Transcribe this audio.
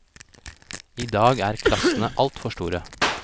I dag er klassene alt for store.